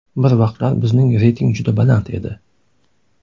Bir vaqtlar bizning reyting juda baland edi.